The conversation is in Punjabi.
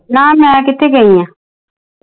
ਨਾ ਮੈ ਕਿੱਥੇ ਗਈ ਆ।